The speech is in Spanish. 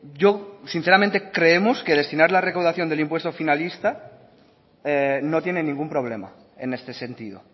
yo sinceramente creemos que destinar la recaudación del impuesto finalista no tiene ningún problema en este sentido